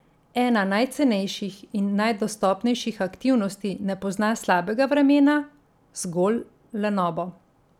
Ena najcenejših in najdostopnejših aktivnosti ne pozna slabega vremena, zgolj lenobo.